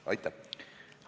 Aitäh!